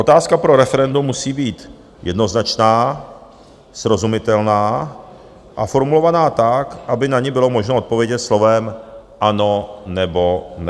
Otázka pro referendum musí být jednoznačná, srozumitelná a formulovaná tak, aby na ni bylo možno odpovědět slovem "ano" nebo "ne".